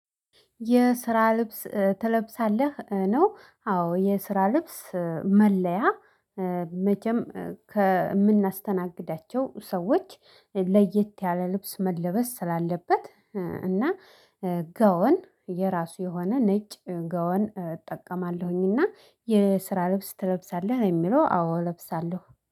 የስራ ልብስ ትለብሳለህ ነው? አዎ የስራ ልብስ መለያ። መቸም ከምናስተናግዳቸው ሰዎች ለየት ያለ ልብስ መለበስ ስላለበት። እና ጋወን የራሱ የሆነ ነጭ ጋወን እጠቀማለሁኝና የስራ ልብስ ትለብሳለህ ለሚለው አዎ እለብሳለሁ